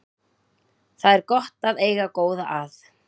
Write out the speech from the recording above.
Það er gott að eiga góða að.